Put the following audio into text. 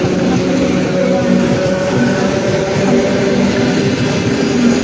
పక్కన బిల్డింగులు కూడా ఉన్నాయి. కింద అంత గ్రీన్ కలర్ తో ఉంది.